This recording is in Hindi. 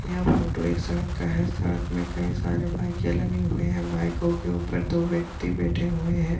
यह फोटो एक सड़क का है सड़क में कई सारे बाईकें लगे हुए हैं बाईकों के ऊपर दो व्यक्ति बैठे हुए हैं।